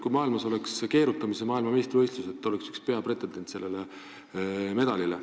Kui maailmas oleksid keerutamise maailmameistrivõistlused, siis te oleksite üks peapretendent sellele medalile.